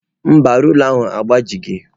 Mba, rula ahụ agbajighị.